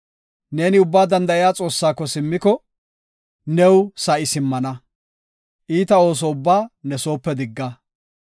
Neeni Ubbaa Danda7iya Xoossaako simmiko; new sa7i simmana; iita ooso ubbaa ne soope digga;